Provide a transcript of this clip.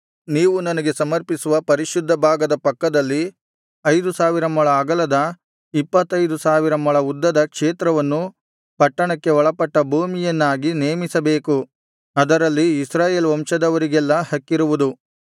ನೀವು ನನಗೆ ಸಮರ್ಪಿಸುವ ಪರಿಶುದ್ಧ ಭಾಗದ ಪಕ್ಕದಲ್ಲಿ ಐದು ಸಾವಿರ ಮೊಳ ಅಗಲದ ಇಪ್ಪತ್ತೈದು ಸಾವಿರ ಮೊಳ ಉದ್ದದ ಕ್ಷೇತ್ರವನ್ನು ಪಟ್ಟಣಕ್ಕೆ ಒಳಪಟ್ಟ ಭೂಮಿಯನ್ನಾಗಿ ನೇಮಿಸಬೇಕು ಅದರಲ್ಲಿ ಇಸ್ರಾಯೇಲ್ ವಂಶದವರಿಗೆಲ್ಲಾ ಹಕ್ಕಿರುವುದು